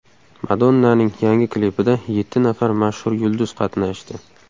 Madonnaning yangi klipida yetti nafar mashhur yulduz qatnashdi.